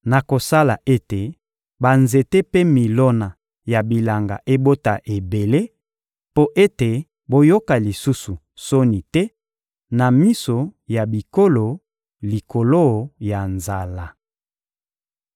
Nakosala ete banzete mpe milona ya bilanga ebota ebele, mpo ete boyoka lisusu soni te na miso ya bikolo likolo ya nzala.